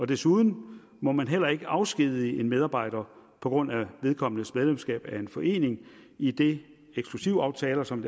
desuden må man heller ikke afskedige en medarbejder på grund af vedkommendes medlemskab af en forening idet eksklusivaftaler som